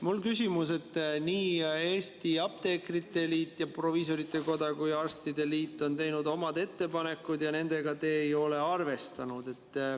Mul on küsimus, et nii apteekrite liit, proviisorite koda kui ka arstide liit on teinud oma ettepanekud, aga neid te ei ole arvestanud.